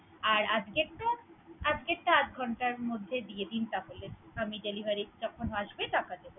আর আজকের টা, আজকের টা আধঘন্টার মধ্যে দিয়ে দিন তাহলে আমি delivery টা যখন আসবে টাকা দিব।